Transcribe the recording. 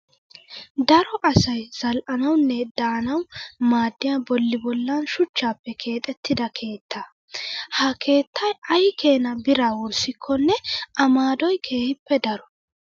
Daro asayi zal"anawunne daanawu maaddiyaa bolli bollan shuchchaappe keexettida keettaa. Ha keettayi ayi keena biraa wurssikkonne A maadoyi keehippe daro.